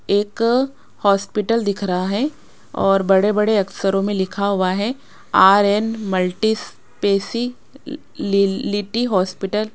एक हॉस्पिटल दिख रहा है और बड़े बड़े अक्षरों में लिखा हुआ है R N multi speciality hospital.